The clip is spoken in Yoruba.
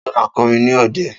Ta ló ma kọrin ní òde?